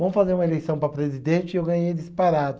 Vamos fazer uma eleição para presidente e eu ganhei em disparado.